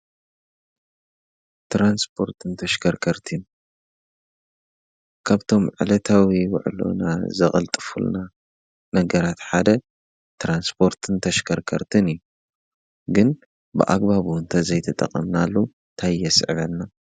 ትራንስፖርትን ተሽከርከርቲ ካብቶም ዕለታዊ ውዕሎና ዘቐልጥፉልና ነገራት ሓደ ትራንስፖርትን ተሽከርከርትን እዩ። ግን ብኣግባብ እውን ተዘይተጠቐምናሉ ታይ የስዕበልና?